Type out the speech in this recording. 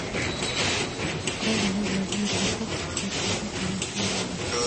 открой мне владимир высоцкий я приду по ваши души